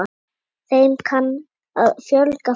Þeim kann að fjölga frekar.